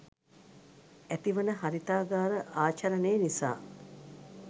ඇතිවන හරිතාගාර ආචරණය නිසා